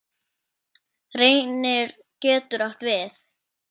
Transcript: Reynir getur átt við